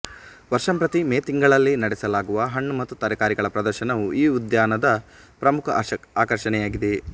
ವರ್ಷಂಪ್ರತಿ May ತಿಂಗಳಲ್ಲಿ ನಡೆಸಲಾಗುವ ಹಣ್ಣು ಮತ್ತು ತರಕಾರಿಗಳ ಪ್ರದರ್ಶನವು ಈ ಉದ್ಯಾನದ ಪ್ರಮುಖ ಆಕರ್ಷಣೆಯಾಗಿದೆ